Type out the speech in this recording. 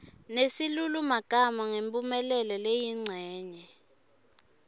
nesilulumagama ngemphumelelo leyincenye